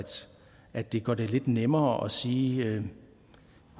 at det gør det lidt nemmere at sige at